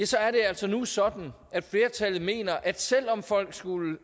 så er det altså nu sådan at flertallet mener at selv om folk skulle